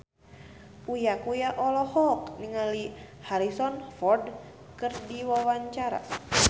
Uya Kuya olohok ningali Harrison Ford keur diwawancara